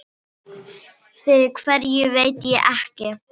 Fyrir hverju veit ég ekki.